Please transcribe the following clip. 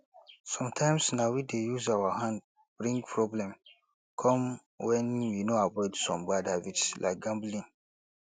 sometimes na we dey use our hand bring problem come when we no avoid some bad habits like gambling